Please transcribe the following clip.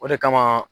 O de kama